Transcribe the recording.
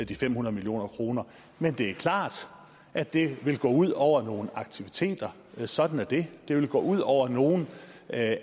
de fem hundrede million kroner men det er klart at det vil gå ud over nogle aktiviteter sådan er det det vil gå ud over nogle af